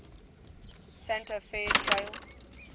santa fe trail